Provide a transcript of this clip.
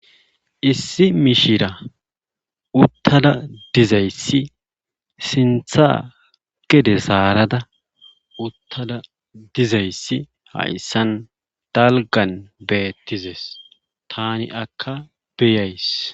issi mishira uttada dizayssi sintha gede saarada uttada dizayssi hayssan dalgan beettizes tani akka beyays